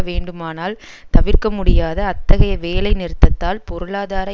வேண்டுமானால் தவிர்க்க முடியாத அத்தகைய வேலைநிறுத்தத்தால் பொருளாதார